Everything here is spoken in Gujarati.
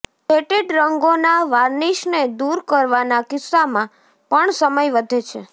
સેટેડ રંગોના વાર્નિશને દૂર કરવાના કિસ્સામાં પણ સમય વધે છે